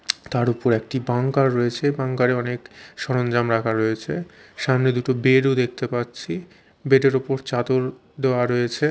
তার ওপর একটি বাঙ্কার রয়েছে বাঙ্কার -এ অনেক সরঞ্জাম রাখা রয়েছে সামনে দুটো বেড -ও দেখতে পাচ্ছি বেড -এর ওপর চাদর দেওয়া রয়েছে।